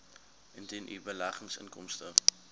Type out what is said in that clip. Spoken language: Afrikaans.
indien u beleggingsinkomste